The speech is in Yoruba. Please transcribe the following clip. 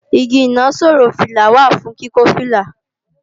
Igi ìnaṣọró fìlà wà fún kíkọ́ fìlà